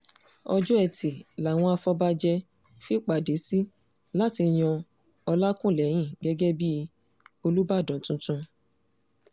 ọjọ́ etí làwọn afọbàjẹ́ fìpàdé sí láti yan ọlákùlẹ́hìn gẹ́gẹ́ bíi olùbàdàn tuntun